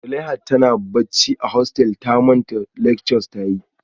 Zuleihat tana bacci a hostel ta manta lecture ta yi